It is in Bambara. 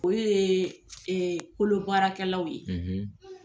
Olu ye e kolobaarakɛlaw ye,